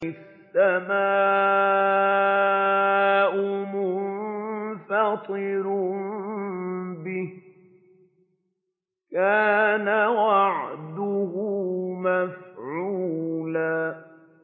السَّمَاءُ مُنفَطِرٌ بِهِ ۚ كَانَ وَعْدُهُ مَفْعُولًا